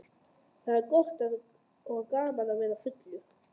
Það er gott og gaman að vera fullur.